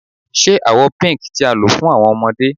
Ṣe awọ Pink ti a lo fun awọn ọmọde